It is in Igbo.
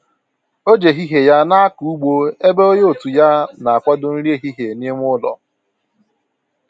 O ji ehihie ya na akọ ụgbọ ebe onye otu ya na akwado nri ehihie n'ime ụlọ